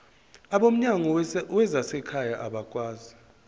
abomnyango wezasekhaya bakwazi